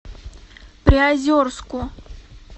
приозерску